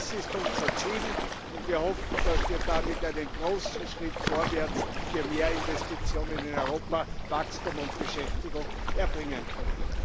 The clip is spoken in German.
Das ist unser Ziel, und wir hoffen, dass wir damit einen großen Schritt vorwärts für mehr Investitionen in Europa, Wachstum und Beschäftigung erbringen können.